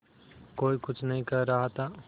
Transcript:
कोई कुछ नहीं कह रहा था